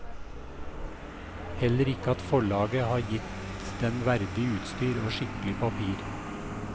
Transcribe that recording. Heller ikke at forlaget har gitt den verdig utstyr og skikkelig papir.